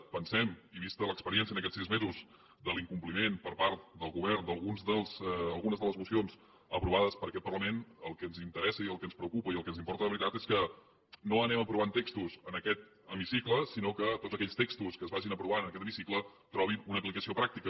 ho pensem i vista l’experiència en aquests sis mesos de l’incompliment per part del govern d’algunes de les mocions aprovades per aquest parlament el que ens interessa i el que ens preocupa i el que ens importa de veritat és que no anem aprovant textos en aquest hemicicle sinó que tots aquells textos que es vagin aprovant en aquest hemicicle trobin una aplicació pràctica